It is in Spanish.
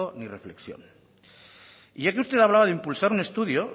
ni reflexión ya que usted hablaba de impulsar un estudio